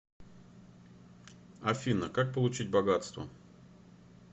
афина как получить богатство